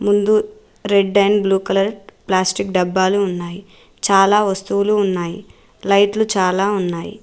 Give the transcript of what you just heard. ముందు red and blue colour plastic డబ్బాలు ఉన్నాయి చాలా వస్తువులు ఉన్నాయి లైట్ లు చాలా ఉన్నాయి.